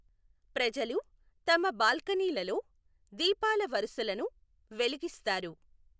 ప్రజలు తమ బాల్కనీలలో దీపాల వరుసలను వెలిగిస్తారు.